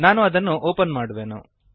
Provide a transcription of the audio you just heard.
ನಾನು ಅದನ್ನು ಓಪನ್ ಮಾಡುವೆನು